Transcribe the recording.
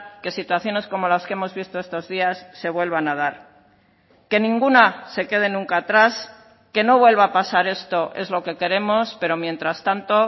que situaciones como las que hemos visto estos días se vuelvan a dar que ninguna se quede nunca atrás que no vuelva a pasar esto es lo que queremos pero mientras tanto